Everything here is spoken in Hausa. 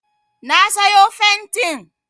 Na sayo fentin